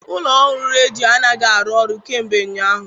Ụlọ ọrụ redio anaghị arụ ọrụ kemgbe ụnyaahụ.